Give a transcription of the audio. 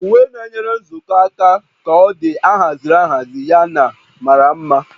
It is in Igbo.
Uwe na-enyere nzukọ aka ka ọ dị ahaziri ahazi yana mara mma